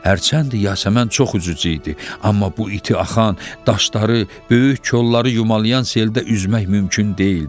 Hərçənd Yasəmən çox üzücü idi, amma bu iti axan, daşları, böyük kolları yumalayan seldə üzmək mümkün deyildi.